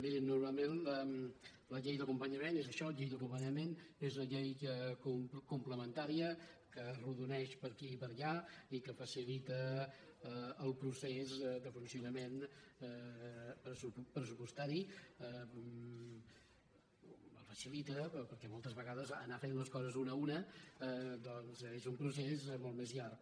mirin normalment la llei d’acompanyament és això llei d’acompanyament és una llei complementària que arrodoneix per aquí i per allà i que facilita el procés de funcionament pressupostari el facilita perquè moltes vegades anar fent les coses una a una doncs és un procés molt més llarg